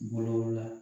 Bolo la